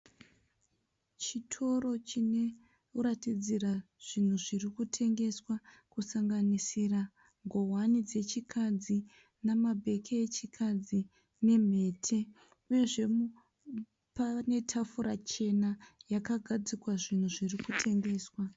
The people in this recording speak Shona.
Chitoro chinoratidzira zvinhu zvirikutengeswa kusanganisira nguwani dzechikadzi namabheke echikadzi nemhete, uyezve pane tafura chena yakagadzikwa zvirikutengeswa.